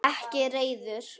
Ekki reiður.